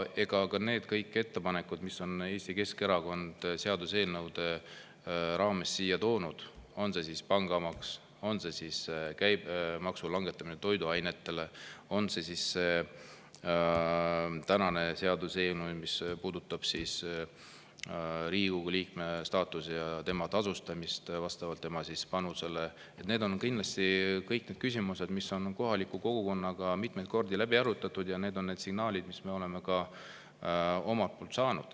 Ka kõik need ettepanekud, mis Eesti Keskerakond on seaduseelnõude raames siia toonud – on see pangamaks, on see toiduainete käibemaksu langetamine, on see siis tänane seaduseelnõu, mis puudutab Riigikogu liikme staatust ja tasustamist vastavalt tema panusele –, on kindlasti kõik küsimused, mis on kohaliku kogukonnaga mitmeid kordi läbi arutatud, ja need on need signaalid, mis me oleme saanud.